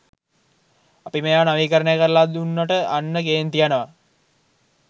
අපි මේවා නවීකරණය කරලා දුන්නට අන්න කේන්ති යනවා.